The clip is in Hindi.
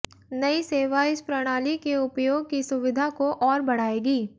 नयी सेवा इस प्रणाली के उपयोग की सुविधा को और बढ़ाएगी